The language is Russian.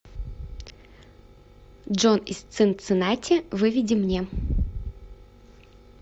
джон из цинциннати выведи мне